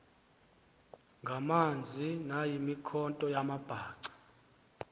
ngamanzi nayimikhonto yamabhaca